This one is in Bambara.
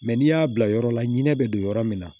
Mɛ n'i y'a bila yɔrɔ la ɲinɛ bɛ don yɔrɔ min na